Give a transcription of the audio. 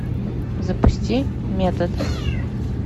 запусти метод